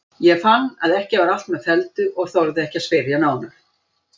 Ég fann að ekki var allt með felldu en þorði ekki að spyrja nánar.